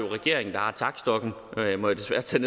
regeringen der har taktstokken må jeg desværre tage